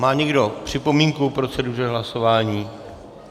Má někdo připomínku k proceduře hlasování?